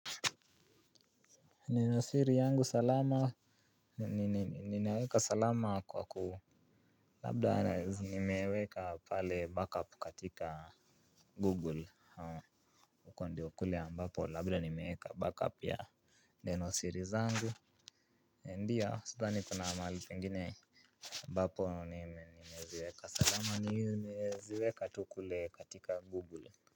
Nina siri yangu salama, ni ninaeka salama kwa ku labda zinimeweka pale backup katika google Ukwandeo wa kule ambapo labda nimeweka backup ya neno siri zangu. Ndiya sidhani kuna mahali pengine ambapo nimeziweka salama nimeziweka tu kule katika google.